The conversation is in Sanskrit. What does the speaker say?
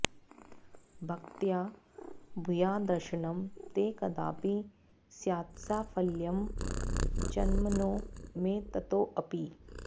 भक्त्या भूयाद्दर्शनं ते कदापि स्यात्साफल्यं जन्मनो मे ततोऽपि